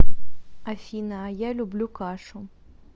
афина а я люблю кашу